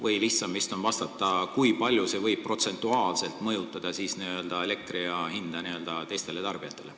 Või lihtsam vist on vastata, kui palju see võib protsentuaalselt mõjutada elektri hinda teistele tarbijatele.